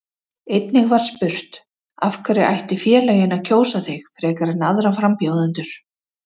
Einnig var spurt: Af hverju ættu félögin að kjósa þig frekar en aðra frambjóðendur?